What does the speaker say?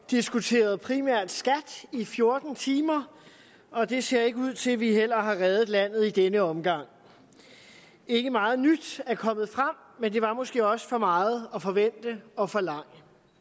diskuteret primært skat i fjorten timer og det ser ikke ud til at vi har reddet landet i denne omgang ikke meget nyt er kommet frem men det var måske også for meget at forvente og forlange